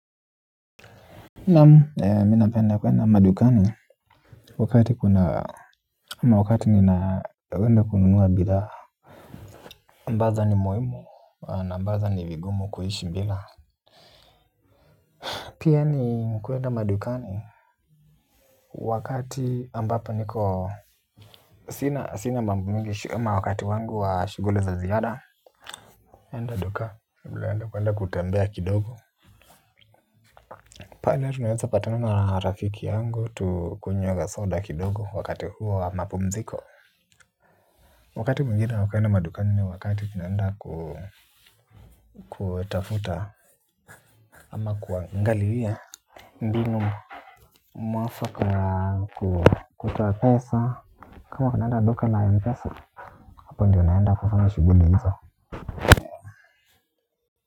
Naam mi napenda kwenda madukani. Wakati kuna wakati ninaenda kununua bidhaa ambazo ni muhimu na ambazo ni vigumu kuishi bila. Pia ni kwenda madukani wakati ambapo niko sina mambo mengi shu wakati wangu wa shughuli za ziada. Enda duka labda enda kwenda kutembea kidogo pale tunaweza patana na rafiki yangu tukunywe kasoda kidogo wakati huu wa mapumziko, wakati mwingine wa kwenda madukani wakati tunaenda ku kuwatafuta ama kuangalia mbinu mwafaka kutoa pesa kama tunaenda duka la mpesa hapo ndiyo unaenda kufanya shughuli hizo.